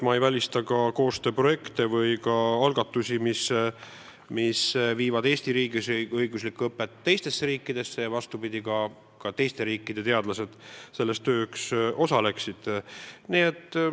Ma ei välista koostööprojekte ja algatusi, tänu millele Eesti riigi õigusõpe jõuab teistesse riikidesse ja vastupidi, teiste riikide teadlased osalevad meie töös.